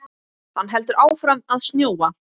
Hann heldur áfram að snjóa.